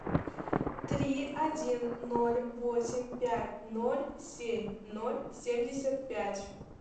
три один ноль восемь пять ноль семь ноль семьдесят пять